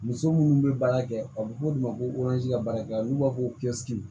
Muso minnu bɛ baara kɛ a bɛ fɔ olu de ma ko ka baarakɛla n'u b'a fɔ ko